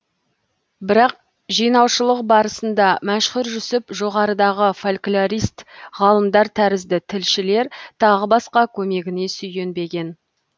бірақ жинаушылық барысында мәшһүр жүсіп жоғарыдағы фольклорист ғалымдар тәрізді тілшілер тағы басқа көмегіне сүйенбеген